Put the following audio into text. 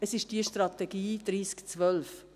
Es ist die Strategie 3012.